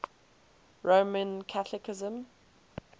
roman catholicism